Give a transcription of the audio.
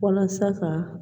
Walasa ka